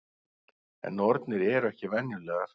En nornir eru ekki venjulegar.